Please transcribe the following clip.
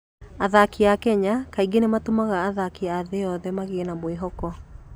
Athaki a Kenya kaingĩ nĩ matũmaga athaki a thĩ yothe magĩe na mwĩhoko.